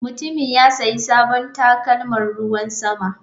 Mutumin ya sayi sabon takalman ruwan sama.